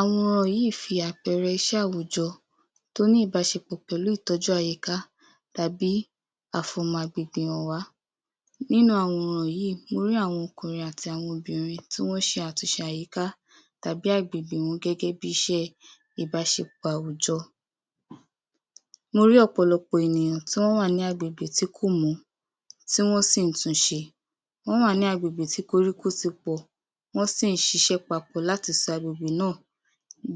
Àwọn yìí fi àpẹẹrẹ iṣẹ́ àwùjọ tó ní ìbáṣepọ̀ tó ní ìbáṣepọ̀ pẹ̀lú ìtọ́jú àyíká tàbí àfọ̀mọ́ agbègbè hàn wá. Nínú àwọn yìí, mo rí àwọn ọkùnrin àti àwọn obìnrin tí wọ́n ń ṣe àtúnṣe àyíká tàbí agbègbè gẹ́gẹ́ bíi iṣẹ́ ìbáṣepọ̀ àwùjọ. Mo rí ọ̀pọ̀lọ̀pọ̀ àwọn ènìyàn tí wọ́n wà ní agbègbè tí kò mọ́, tí wọ́n sì tún n ṣe. Wọ́n wà ní agbègbè tí koríko ti pọ̀, wọ́n sì ń ṣiṣẹ́ papọ̀ láti sọ agbègbè náà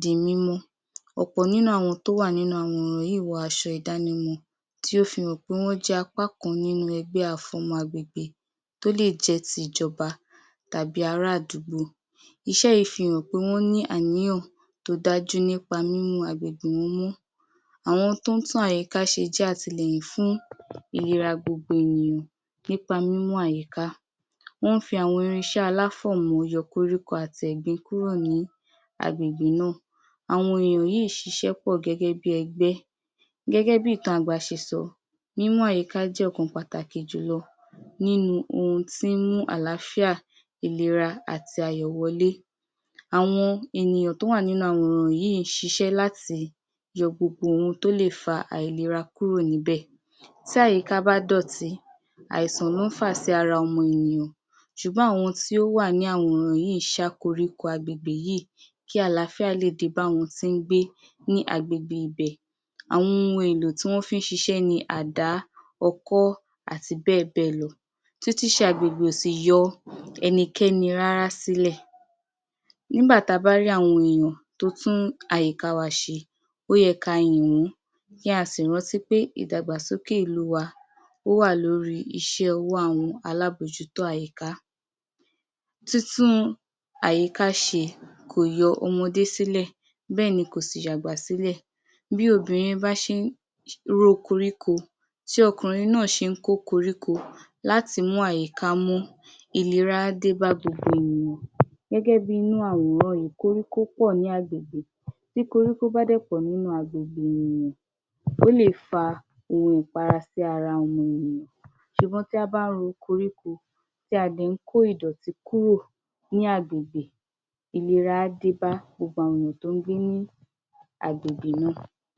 di mímọ́. Ọ̀pọ̀ nínú àwọn tó wà nínú àwòrán yìí wọ aṣọ ìdánimọ̀ tí ó fi hàn pé wọ́n jẹ́ apá kan nínú ẹgbẹ́ àfọ̀mọ́ agbègbè tó lè jẹ́ ìjọba tàbí ará àdúgbò. Iṣẹ́ yìí fi hàn pé wọ́n ní àníyàn tó dájú nípa mímú agbègbè wọn mọ́. Àwọn tí wọ́n ń tún àyíká ṣe jẹ́ àtìlẹ́yìn fún ìlera gbogbo ènìyàn nípa mímú àyíká, wọ́n ń fi àwọn irinṣẹ́ aláfọ̀mọ́ yọ koríko àti ẹ̀gbin kúrò ní agbègbè náà. Àwọn èèyàn yìí ń ṣiṣẹ́ pọ̀ gẹ́gẹ́ bíi ẹgbẹ́, gẹ́gẹ́ bíi ìtàn àgbà ṣe sọ “Mímọ́ àyíká jẹ́ ọ̀kan pàtàkì jù lọ nínú ohun tí ń mú àlàáfíà, ìlera, àti ayọ̀ wọlé”. Àwọn ènìyàn tó wà nínú àwòrán yìí ń ṣiṣẹ́ láti yọ gbogbo ohun tó lè fa àìlera kúrò níbẹ̀. Tí àyíká bá dọ̀tí, àìsàn ló ń fà sí ara ọmọ ènìyàn ṣùgbọ́n àwọn tí ó wà nínú àwòrán yìí ń ṣá koríko agbègbè yìí kí àlàáfíà ó le dé bá àwọn tí wọ́n ń gbé ní agbègbè ibẹ̀. Àwọn ohun èlò tí wọ́n fi n ṣiṣẹ́ ni àdá, ọkọ́, àti bẹ́ẹ̀ bẹ́ẹ̀ lọ. Túntún ṣe agbègbè ò sì yọ ẹnikẹ́ni rárá sílẹ̀. Nígbà tí a bá rí àwọn ènìyàn tó ń tún àyíká wa ṣe, ó yẹ kí á yìn wọ́n, kí á sì rántí pé ìdàgbàsókè ìlú wa ó wà lórí iṣẹ́ àwọn alábòójútó àyíká. Túntún àyíká ṣe kò yọ ọmọdé sílẹ̀ bẹ́ẹ̀ ni kò sì yọ àgbà sílẹ̀. Bí obìnrin bá ṣe ń ro koríko tí ọkùnrin náà sì ń kó koríko láti mú àyíká mọ́, ìlera á dé bá gbogbo ènìyàn. Gẹ́gẹ́ bíi inú àwòrán yìí, koríko pọ̀ nínú gbogbо agbègbè, bí koríko bá lè pọ̀ nínú gbogbo agbègbè ènìyàn, ó lè fa ohun ìfara sí ara ọmọ ènìyàn ṣùgbọ́n bí a bá ro koríko tí a dẹ̀ ń kó ìdọ̀tí kúrò ní agbègbè, ìlera á dé bá gbogbo àwọn ènìyàn tó ń gbé ní agbègbè náà.